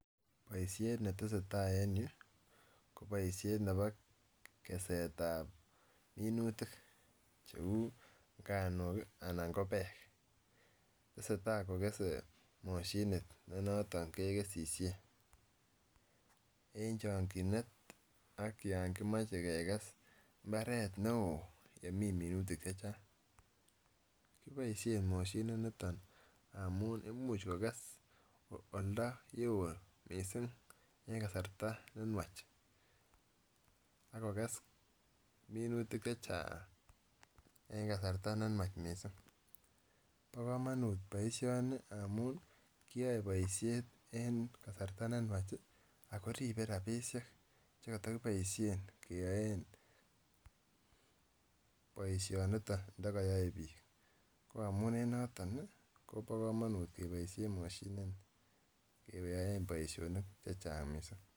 Boishet netesetai en yuu ko boishet nebo keset ab minutik cheu nganuk kii anan ko peek tesetai kokese moshinit ne noton kekesisien en chokinet ak yon komoche kekes imbaret neo nemii chechang. Koboishen moshinit niton amun imuch kokes oldoo yeo missing en kasari nenywach ak kokes minutik chechang en kasartab neywanch missing. Bo komonut boishoni amun kiyoe boishet en kasartab neywanch ako ribe rabishek chekotokiboishen keyoe boishoniton ndio koyoe bik ko amun en noton Kobo komonut keboishen moshinit keyaen boishonik chechang missing.